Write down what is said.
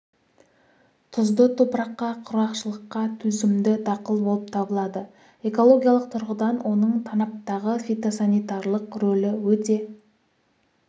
тұзды топыраққа құрғақшылыққа төзімді дақыл болып табылады экологиялық тұрғыдан оның танаптағы фитосанитарлық рөлі өте